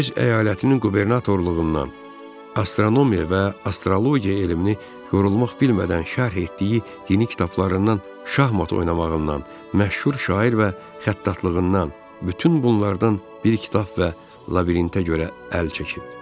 Öz əyalətinin qubernatorluğundan, astronomiya və astrologiya elmini yorulmaq bilmədən şərh etdiyi dini kitablarından, şahmat oynamağından, məşhur şair və xəttatlığından, bütün bunlardan bir kitab və labirintə görə əl çəkib.